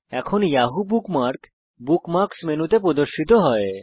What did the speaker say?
এখন Yahoo bookmark bookmarks মেনুতে প্রদর্শিত হয়